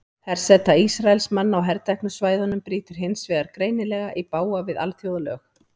Herseta Ísraelsmanna á herteknu svæðunum brýtur hins vegar greinilega í bága við alþjóðalög.